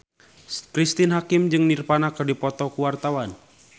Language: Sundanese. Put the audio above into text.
Cristine Hakim jeung Nirvana keur dipoto ku wartawan